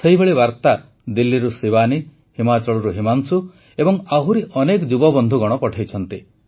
ସେହିଭଳି ବାର୍ତା ଦିଲ୍ଲୀରୁ ଶିବାନୀ ହିମାଚଳରୁ ହିମାଂଶୁ ଏବଂ ଆହୁରି ଅନେକ ଯୁବବନ୍ଧୁଗଣ ପଠେଇଛନ୍ତି